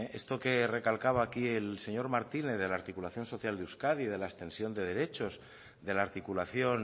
esto que recalcaba aquí el señor martínez de la articulación social de euskadi de la extensión de derechos de la articulación